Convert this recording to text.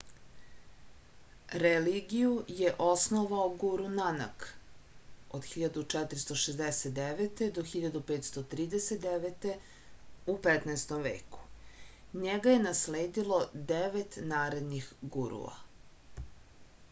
религију је основао гуру нанак 1469–1539 у 15. веку. њега је наследило девет наредних гуруа